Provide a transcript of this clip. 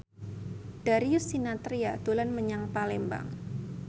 Darius Sinathrya dolan menyang Palembang